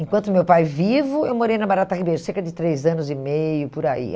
Enquanto meu pai vivo, eu morei na Barata Ribeiro, cerca de três anos e meio, por aí.